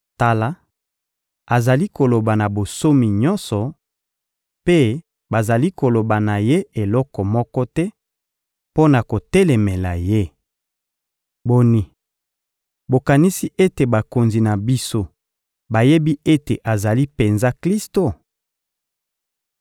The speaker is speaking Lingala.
Tala, azali koloba na bonsomi nyonso, mpe bazali koloba na ye eloko moko te mpo na kotelemela ye! Boni, bokanisi ete bakonzi na biso bayebi ete azali penza Klisto?